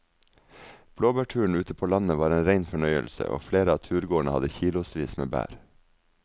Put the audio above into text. Blåbærturen ute på landet var en rein fornøyelse og flere av turgåerene hadde kilosvis med bær.